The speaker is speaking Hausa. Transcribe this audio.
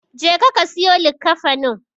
Jeka ka siyo likkafanin.